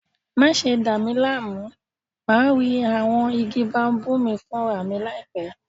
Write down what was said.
Má ṣe dà mí láàmú, màá rí àwọn igi baobab mi fúnra mi láìpẹ́!